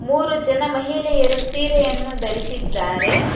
ಮೂರು ಜನ ಮಹಿಳೆಯರು ಸೀರೆಯನ್ನು ಧರಿಸಿದ್ದಾರೆ.